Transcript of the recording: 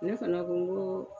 Ne fana ko ŋo